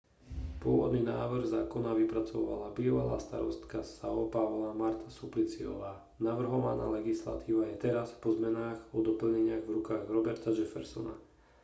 pôvodný návrh zákona vypracovala bývalá starostka são paula marta suplicyová. navrhovaná legislatíva je teraz po zmenách a doplneniach v rukách roberta jeffersona